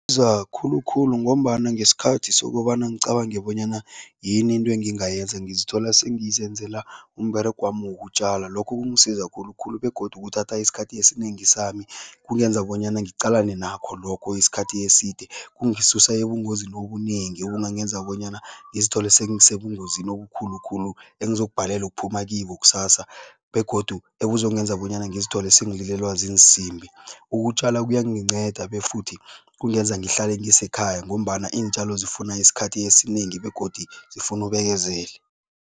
Isiza khulukhulu ngombana ngesikhathi sokobana ngicabange bonyana yini into engingayenza, ngizithola sengizenzela umberegwami wokutjala. Lokho kungisiza khulukhulu begodu kuthatha isikhathi esinengi sami, kungenza bonyana ngiqalene nakho lokho isikhathi eside. Kungisusa ebungozi obunengi obungangenza bonyana ngizithole sengisebungozi obukhulukhulu engizokubhadelwa ukuphuma kibo kusasa begodu ebuzongenza bonyana ngizithole sengililelwa ziinsimbi. Ukutjala kuyanginceda befuthi kungenza ngihlale ngisekhaya ngombana iintjalo zifuna isikhathi esinengi begodu zifuna ubekezele.